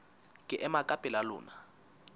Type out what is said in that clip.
ke ema ka pela lona